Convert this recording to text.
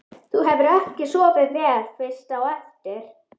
Þú hefur ekki sofið vel fyrst á eftir?